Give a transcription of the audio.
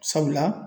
Sabula